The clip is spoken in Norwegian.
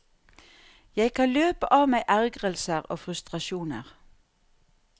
Jeg kan løpe av meg ergrelser og frustrasjoner.